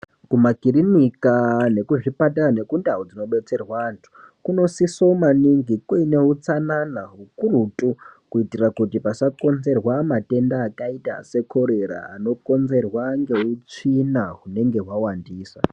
Kumakirinika, nekuzvipatara nekundau dzinobetserwa anhu, kunosisomaningi kune utsanana hukurutu kuitira kuti pasakonzerwa matenda akaita sekorera. Anongonzerwa ngeutsvina hunenge hwawandisa.